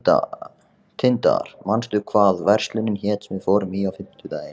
Tindar, manstu hvað verslunin hét sem við fórum í á fimmtudaginn?